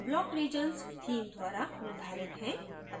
block regions theme द्वारा निर्धारित हैं